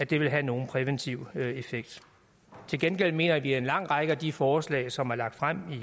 vil have nogen præventiv effekt til gengæld mener vi at en lang række af de forslag som er lagt frem